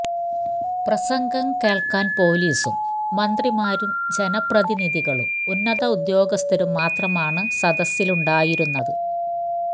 പ്രസംഗം കേള്ക്കാന് പൊലീസും മന്ത്രിമാരും ജനപ്രതിനിധികളും ഉന്നത ഉദ്യോഗസ്ഥരും മാത്രമാണ് സദസ്സിലുണ്ടായിരുന്നത്